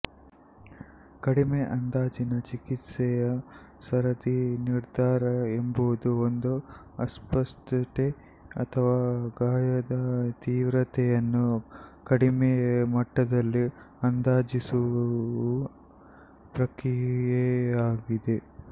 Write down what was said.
ಕಡಿಮೆ ಅಂದಾಜಿನ ಚಿಕಿತ್ಸೆಯ ಸರದಿ ನಿರ್ಧಾರ ಎಂಬುದು ಒಂದು ಅಸ್ವಸ್ಥತೆ ಅಥವಾ ಗಾಯದ ತೀವ್ರತೆಯನ್ನು ಕಡಿಮೆ ಮಟ್ಟದಲ್ಲಿ ಅಂದಾಜಿಸುವ ಪ್ರಕ್ರಿಯೆಯಾಗಿದೆ